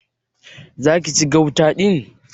Zaki ci gauta din?